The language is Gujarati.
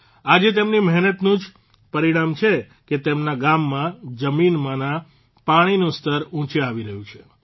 આજે તેમની મહેનતનું જ પરિણામ છે કે તેમના ગામમાં જમીનમાંના પાણીનું સ્તર ઉંચે આવી રહ્યું છે